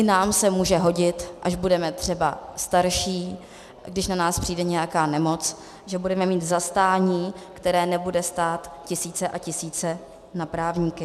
I nám se může hodit, až budeme třeba starší, když na nás přijde nějaká nemoc, že budeme mít zastání, které nebude stát tisíce a tisíce na právníky.